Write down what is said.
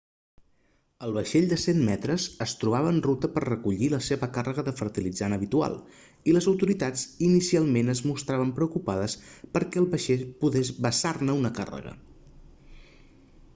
el vaixell de 100 metres es trobava en ruta per a recollir la seva càrrega de fertilitzant habitual i les autoritats inicialment es mostraven preocupades perquè el vaixell pogués vessar-ne una càrrega